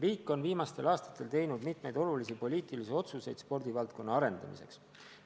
Riik on viimastel aastatel teinud mitmeid olulisi poliitilisi otsuseid spordivaldkonna arendamiseks.